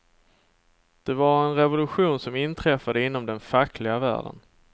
Det var en revolution som inträffade inom den fackliga världen.